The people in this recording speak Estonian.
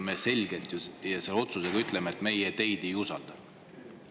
Me selgelt ju selle otsusega ütleme, et me neid ei usalda.